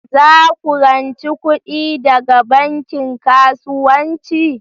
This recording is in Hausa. Za ku rance kuɗi daga banki kasuwanci?